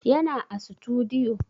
Yana a sutudiyo